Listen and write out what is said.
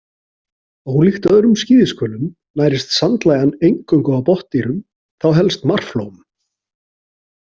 Ólíkt öðrum skíðishvölum nærist sandlægjan eingöngu á botndýrum, þá helst marflóm.